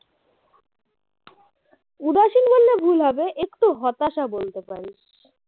উদাসীন বললে ভুল হবে একটু হতাশা বলতে পারিস